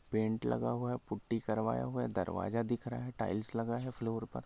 Paint लगा हुआ है पुट्ठी करवाया हुआ है दरवाजा दिख रहा है फ्लोर पर।